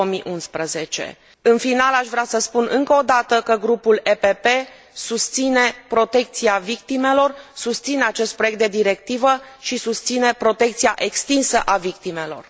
2011. În final, aș vrea să spun încă o dată că grupul PPE susține protecția victimelor, susține acest proiect de directivă și susține protecția extinsă a victimelor.